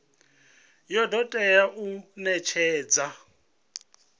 ya do tea u netshedzwa